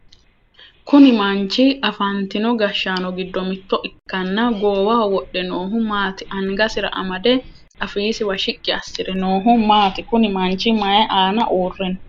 Kunni manchi afantino gashaano gido mitto ikanna goowaho wodhe noohu maati? Angasira amade afiisiwa shiqi asire noohu maati? Kunni manchi mayi aanna uure no?